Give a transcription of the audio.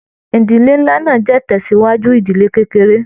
Ìdílé nlá náà jẹ itansiwaju ìdílé kékeré.